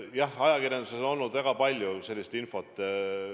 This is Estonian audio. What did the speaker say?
Jah, ajakirjanduses on olnud väga palju sellist infot.